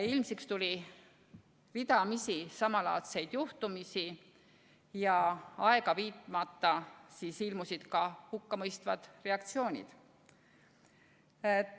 Ilmsiks tuli ridamisi samalaadseid juhtumeid ja aega viitmata ilmusid ka hukkamõistvad reageeringud.